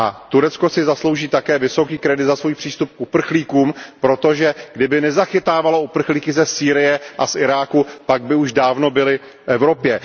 Turecko si zaslouží také vysoký kredit za svůj přístup k uprchlíkům, protože kdyby nezachytávalo uprchlíky ze Sýrie a z Iráku, pak by už dávno byli v Evropě.